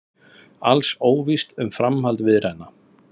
Alls óvíst um framhald viðræðna